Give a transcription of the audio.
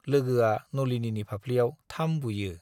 लोगोआ नलिनीनि फाफ्लियाव थाम बुयो।